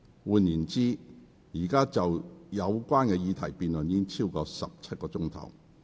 換言之，議員就有關議題已辯論了超過17小時。